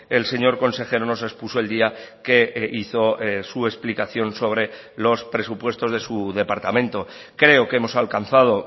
el señor consejero nos expuso el día que hizo su explicación sobre los presupuestos de su departamento creo que hemos alcanzado